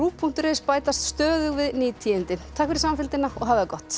punktur is bætast stöðugt við ný tíðindi takk fyrir samfylgdina og hafið það gott